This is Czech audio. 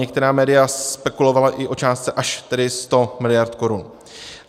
Některá média spekulovala i o částce až tedy 100 mld. korun.